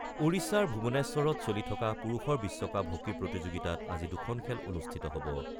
ওড়িশাৰ ভুৱনেশ্বৰত চলি থকা পুৰুষৰ বিশ্বকাপ হকী প্ৰতিযোগিতাত আজি দুখন খেল অনুষ্ঠিত হ'ব।